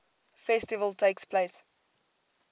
festival takes place